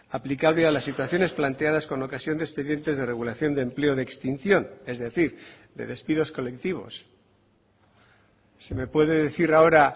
aplicable a las situaciones planteadas con ocasión de expedientes de regulación de empleo de extinción es decir de despidos colectivos se me puede decir ahora